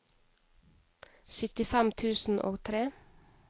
syttifem tusen og tre